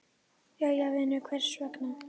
Jæja vinur, hvers vegna?